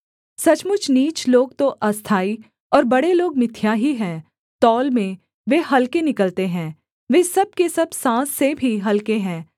सचमुच नीच लोग तो अस्थाई और बड़े लोग मिथ्या ही हैं तौल में वे हलके निकलते हैं वे सब के सब साँस से भी हलके हैं